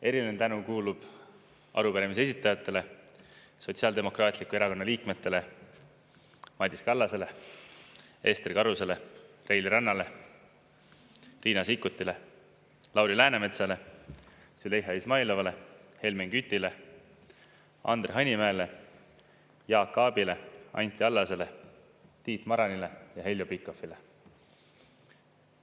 Eriline tänu kuulub arupärimise esitajatele, Sotsiaaldemokraatliku Erakonna liikmetele Madis Kallasele, Ester Karusele, Reili Rannale, Riina Sikkutile, Lauri Läänemetsale, Züleyxa Izmailovale, Helmen Kütile, Andre Hanimäele, Jaak Aabile, Anti Allasele, Tiit Maranile ja Heljo Pikhofile.